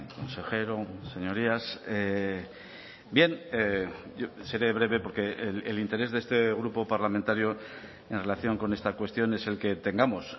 consejero señorías bien seré breve porque el interés de este grupo parlamentario en relación con esta cuestión es el que tengamos